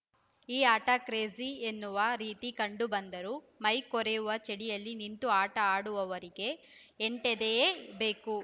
ಈ ಆಟ ಕ್ರೇಜಿ ಎನ್ನುವ ರೀತಿ ಕಂಡುಬಂದರೂ ಮೈ ಕೊರೆವ ಚಳಿಯಲ್ಲಿ ನಿಂತು ಆಟ ಆಡುವವರಿಗೆ ಎಂಟೆದೆಯೇ ಬೇಕು